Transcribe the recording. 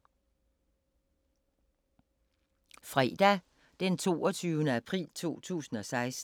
Fredag d. 22. april 2016